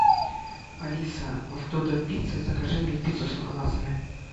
алиса в додо пицца закажи мне пиццу с ананасами